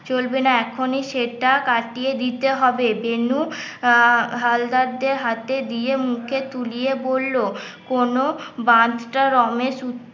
চলবে না এখনই সেটা কাটিয়ে দিতে হবে বেনু আহ হালদারদের হাতে দিয়ে, মুখে তুলে বলল কোন বাঁধ টা রমেশ